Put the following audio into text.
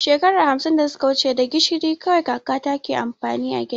Maman mu ta gaya mana cewar shekara hamsin da suka wuci da gishiri kawai kakanta ke amfani a girki.